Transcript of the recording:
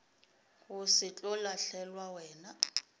go se tlo lahlelwa wena